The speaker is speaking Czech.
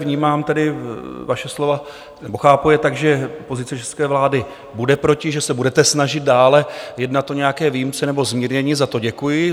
Vnímám tedy vaše slova nebo chápu je tak, že pozice české vlády bude proti, že se budete snažit dále jednat o nějaké výjimce nebo zmírnění, za to děkuji.